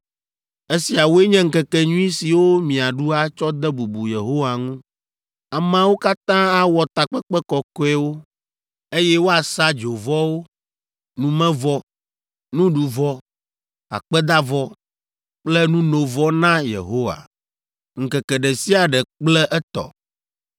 (“ ‘Esiawoe nye ŋkekenyui siwo miaɖu atsɔ de bubu Yehowa ŋu; ameawo katã awɔ takpekpe kɔkɔewo, eye woasa dzovɔwo, numevɔ, nuɖuvɔ, akpedavɔ kple nunovɔ na Yehowa. Ŋkeke ɖe sia ɖe kple etɔ